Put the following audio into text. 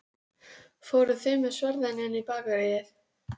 Fóruð þið með sverðin inn í Bakaríið?